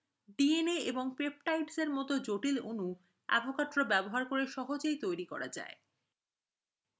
dna এবং peptides মতো জটিল অণু avogadro ব্যবহার করে সহজেই তৈরি করা যায়